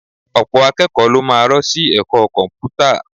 Ọ̀pọ̀ akẹ́kọ̀ọ́ ló máa rọ́ sí ẹ̀kọ́ Kọ̀m̀pútà